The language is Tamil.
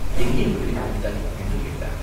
எங்கே இவர்களைப் பிடித்தாய்?" என்று கேட்டார்.